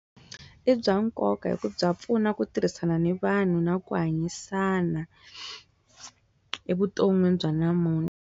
I bya nkoka hi ku bya pfuna ku tirhisana ni vanhu na ku hanyisana evuton'wini bya namunthla.